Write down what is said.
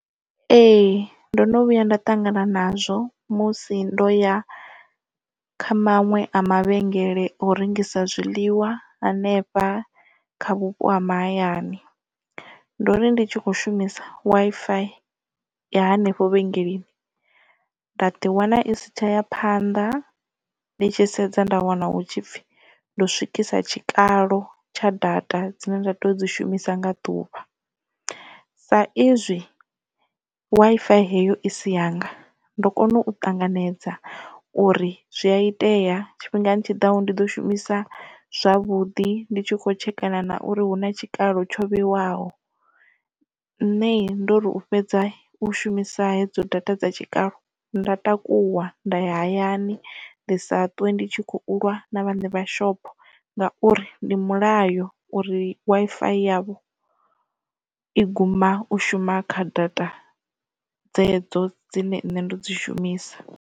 Ee ndo no vhuya nda ṱangana nazwo musi ndo ya kha maṅwe a mavhengele o rengisa zwiḽiwa hanefha kha vhupo ha mahayani ndo ri ndi tshi kho shumisa Wi-Fi ya hanefho vhengeleni nda ḓiwana i sitshaya phanḓa ndi tshi sedza nda wana hu tshi pfhi ndo swikisa tshikalo tsha data dzine nda tea u dzi shumisa nga ḓuvha sa izwi Wi-Fi heyo i si yanga ndo kona u ṱanganedza uri zwi a itea tshifhingani tshiḓaho ndi ḓo shumisa zwavhuḓi ndi tshi kho tshekana na uri hu na tshikalo tsho vheiwaho nṋe ndo ri u fhedza u shumisa hedzo data dza tshikalo nda takuwa nda ya hayani ndi sa ṱwe ndi tshi kho u lwa na vhaṋe vha shopho ngauri ndi mulayo uri Wi-Fi yavho i guma u shuma kha data dzedzo dzine nṋe nda dzi shumisa.